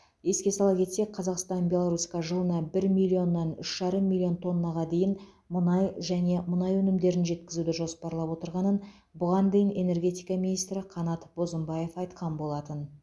еске сала кетсек қазақстан беларусьқа жылына бір миллионнан үш жарым миллион тоннаға дейін мұнай және мұнай өнімдерін жеткізуді жоспарлап отырғанын бұған дейін энергетика министрі қанат бозымбаев айтқан болатын